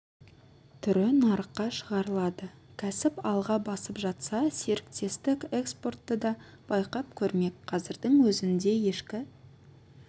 түрі нарыққа шығарылады кәсіп алға басып жатса серіктестік экспортты да байқап көрмек қазірдің өзінде ешкі